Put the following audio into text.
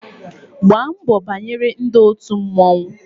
Gbaa mbọ banyere ndị òtù mmọnwụ